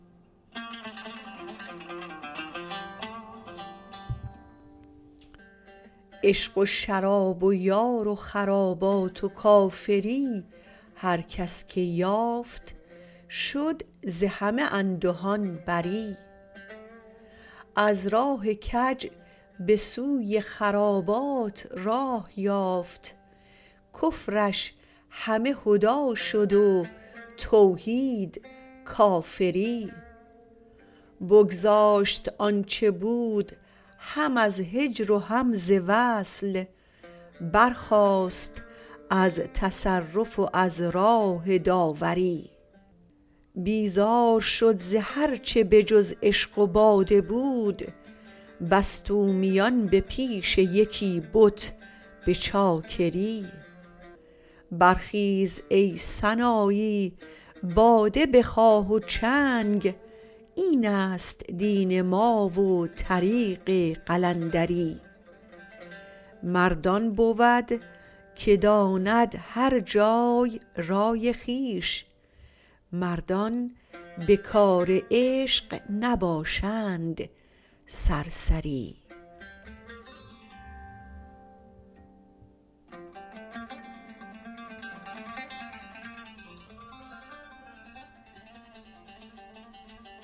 عشق و شراب و یار و خرابات و کافری هر کس که یافت شد ز همه اندهان بری از راه کج به سوی خرابات راه یافت کفرش همه هدی شد و توحید کافری بگذاشت آنچه بود هم از هجر و هم ز وصل برخاست از تصرف و از راه داوری بیزار شد ز هر چه به جز عشق و باده بود بست او میان به پیش یکی بت به چاکری برخیز ای سنایی باده بخواه و چنگ اینست دین ما و طریق قلندری مرد آن بود که داند هر جای رای خویش مردان به کار عشق نباشند سرسری